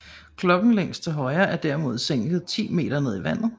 Klokken længst til højre er derimod sænket 10 meter ned i vandet